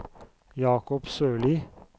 Jacob Sørli